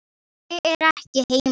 Ég er ekki heima